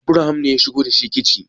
Abraham ne ya shigo da shi ciki